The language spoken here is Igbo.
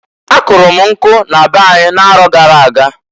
A kụlụ m nkwụ na be anyị na-arọ gara aga.